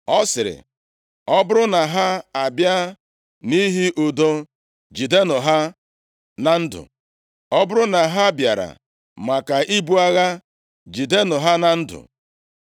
Ọ sịrị, “Ọ bụrụ na ha abịa nʼihi udo, jidenụ ha na ndụ; ọ bụrụ na ha bịara maka ibu agha, jidenụ ha na ndụ!”